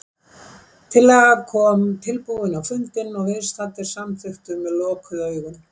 Tillaga kom tilbúin á fundinn og viðstaddir samþykktu með lokuð augun.